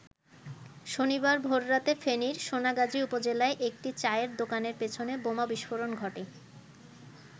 শনিবার ভোররাতে ফেনীর সোনাগাজী উপজেলায় একটি চায়ের দোকানের পেছনে বোমা বিস্ফোরণ ঘটে।